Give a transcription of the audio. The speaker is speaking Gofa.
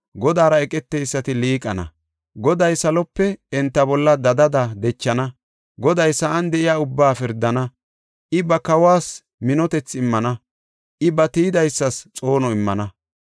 Godaara eqeteysati liiqana; Goday salope enta bolla dadada dechana. Goday sa7an de7iya ubbaa pirdana; I ba kawas minotethi immana; I ba tiyidaysas xoono immana.”